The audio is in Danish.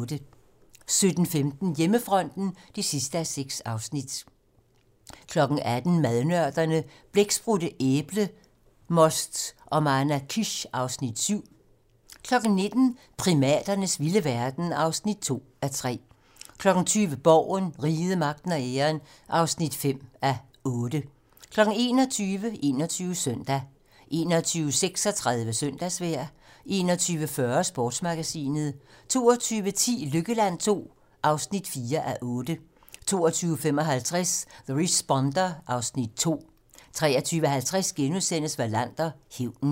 17:15: Hjemmefronten (6:6) 18:00: Madnørderne - Blæksprutte, æblemost og manakish (Afs. 7) 19:00: Primaternes vilde verden (2:3) 20:00: Borgen - Riget, magten og æren (5:8) 21:00: 21 Søndag 21:36: Søndagsvejr 21:40: Sportsmagasinet 22:10: Lykkeland II (4:8) 22:55: The Responder (Afs. 2) 23:50: Wallander: Hævnen *